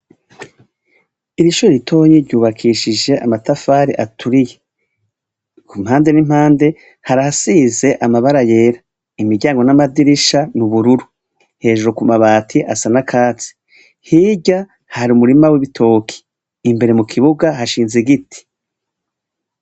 Iri shure ritonnya ryubakishije amatafari aturiye. Ku mpande n'impande harasize amabara yera. Imiryango n'amadirisha n'ubururu. Hejuru ku mabati asa n'akatsi hirya hari umurima w'ibitoki, imbere mu kibuga hashinze igiti.